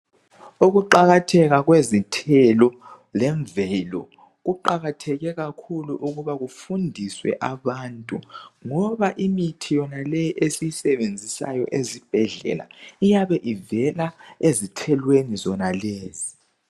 Ukuqakatheka kwezithelo lemvelo kuqakatheke kakhulu ukuba kufundiswe abantu ngoba imithi yonaleyi esiyisebenzisayo ezibhedlela iyabe ivela ezithelweni zonalezi.